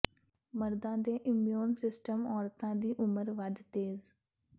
ਮਰਦਾਂ ਦੇ immune systems ਔਰਤਾਂ ਦੀ ਉਮਰ ਵੱਧ ਤੇਜ਼